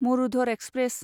Marudhar express